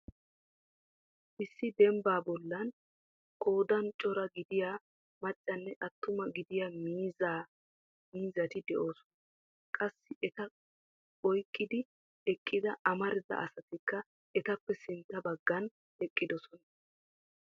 Issi dembba bollan qoodan cora gidiyaa maccanne attuma gidiyaa miizzari de'oosona. Qassi eta oyqqidi eqqida amaridaa asatikka etappe sintta baggan eqqidoosona.